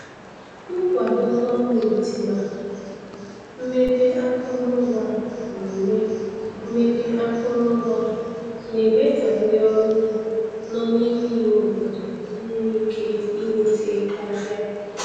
Nkwado gọọmentị na mmepe akụrụngwa na-eme mmepe akụrụngwa na-eme ka ndị ọrụ ugbo nọ n'ime ime obodo nwee ike ịnweta ahịa.